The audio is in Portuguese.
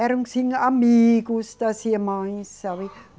Eram assim amigos das irmãs, sabe?